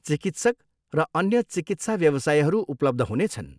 चिकित्सक र अन्य चिकित्सा व्यवसायीहरू उपलब्ध हुनेछन्।